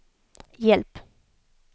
hjälp